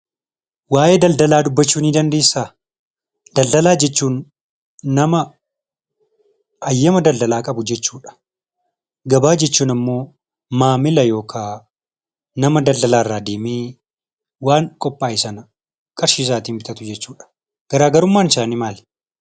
Waa'ee daldalaa dubbachuu ni dandeessaa? Daldalaa jechuun nama hayyama daldalaa qabu jechuudha. Gabaa jechuun ammoo maamila yookaan nama daldala irra deemee waan qophaa'e sana qarshiisaatiin bitatu jechuudha. Garaagarummaan isaanii maali?